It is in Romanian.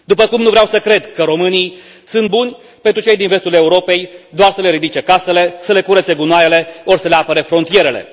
După cum nu vreau să cred că românii sunt buni pentru cei din vestul Europei doar să le ridice casele, să le curețe gunoaiele ori să le apere frontierele.